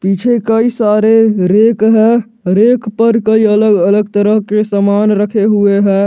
इसमें कई सारे रैक हैं रैक पर कई अलग अलग तरह के सामान रखे हुए हैं।